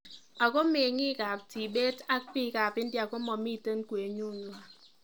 Ako mengiikab Tibet ak biikab India komamiten kwenut nywan